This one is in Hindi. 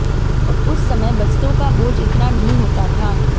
उस समय बस्तों का बोझ इतना नहीं होता था